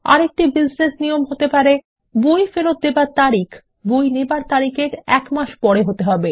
আরেকটি বিজনেস নিয়ম হতে পারে বই ফেরত দেবার তারিখ বই নেবার তারিখ এর এক মাস পরে হতে হবে